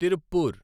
Tiruppur